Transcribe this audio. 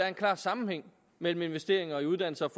en klar sammenhæng mellem investeringer i uddannelse